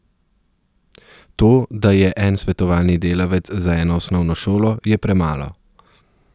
To, da je en svetovalni delavec za eno osnovno šolo, je premalo.